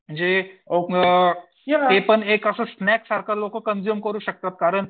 जे ते पण लोकं असं स्नॅक्स सारखं कंझुम करू शकतात कारण